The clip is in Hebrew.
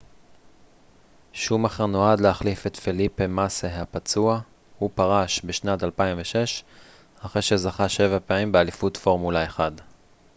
שומאכר נועד להחליף את פליפה מאסה הפצוע הוא פרש בשנת 2006 אחרי שזכה שבע פעמים באליפות פורמולה 1